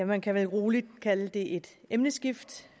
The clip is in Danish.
man kan vel roligt kalde det et emneskift